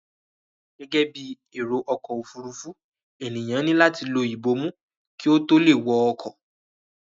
Gẹ́gẹ́ bí èrò ọkọ òfuurufú, ènìyàn ni lati lọ ibomu kí ó tó lè wọ ọkọ̀